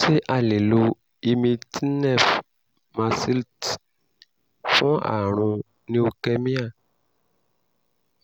ṣé a lè lo imitinef mercilte fún àrùn leukemia